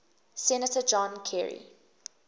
senator john kerry